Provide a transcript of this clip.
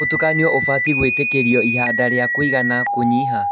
Mũtukanio ũbatie gwĩtĩkĩrio ihinda rĩa kũigana kũnyiha